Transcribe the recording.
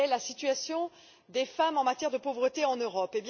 Quelle est la situation des femmes en matière de pauvreté en Europe?